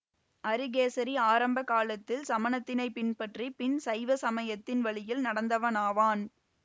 அரிகேசரி ஆரம்ப காலத்தில் சமணத்தினைப் பின்பற்றி பின் சைவ சமயத்தின் வழியில் நடந்தவனாவான்